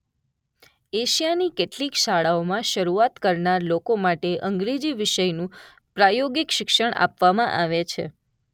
એશિયાની કેટલીક શાળાઓમાં શરૂઆત કરનાર લોકો માટે અંગ્રેજી વિષયનું પ્રાયોગિક શિક્ષણ આપવામાં આવે છે.